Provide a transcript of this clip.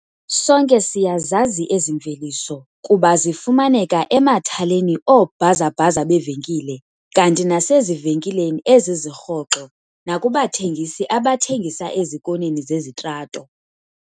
Sonke siyazazi ezi mveliso kuba zifumaneka emathaleni oobhazabhaza beevenkile kanti nasezivenkileni eziziRhoxo nakubathengisi abathengisa ezikoneni zezitrato.